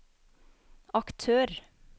aktør